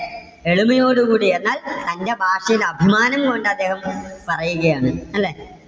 എളിമയോടുകൂടി എന്നാൽ തന്റെ ഭാഷയിൽ അഭിമാനം കൊണ്ട് അദ്ദേഹം പറയുകയാണ് അല്ലേ?